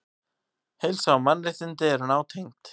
Heilsa og mannréttindi eru nátengd.